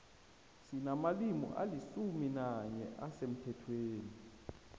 sinamalimi alisumi nanye asemthethweni